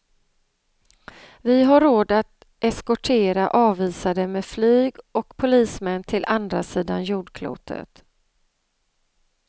Vi har råd att eskortera avvisade med flyg och polismän till andra sidan jordklotet.